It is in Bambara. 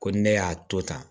Ko ni ne y'a to tan